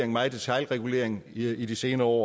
meget detailregulering i de senere år